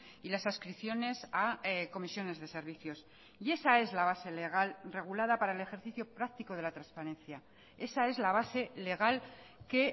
y las adscripciones a comisiones de servicios y esa es la base legal regulada para el ejercicio practico de la transparencia esa es la base legal que